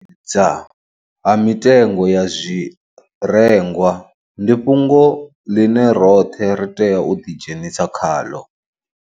Dza ha mitengo ya zwirengwa ndi fhungo ḽine roṱhe ra tea u ḓidzhenisa khaḽo.